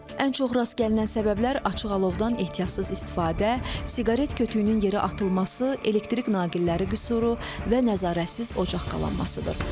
Ən çox rast gəlinən səbəblər açıq alovdan ehtiyatsız istifadə, siqaret kötüyünün yeri atılması, elektrik naqilləri qüsuru və nəzarətsiz ocaq qalanmasıdır.